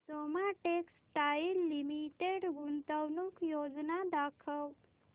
Soma textile limited गुंतवणूक योजना दाखव